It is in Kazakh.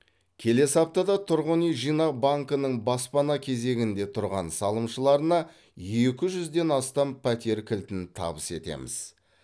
келесі аптада тұрғын үй жинақ банкінің баспана кезегінде тұрған салымшыларына екі жүзден астам пәтер кілтін табыс етеміз